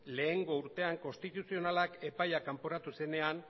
lehengo urtean konstituzionalak epaia kanporatu zenean